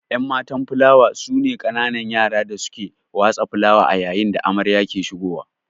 Enmatan filawa sune kananun yara da suke watsa filawa ayayin da amarya ke ahigowa